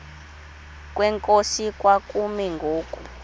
kwenkosi kwakumi ngoku